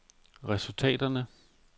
resultaterne